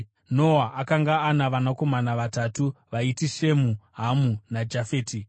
Noa akanga ana vanakomana vatatu vaiti: Shemu, Hamu naJafeti.